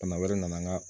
Bana wɛrɛ nana n ga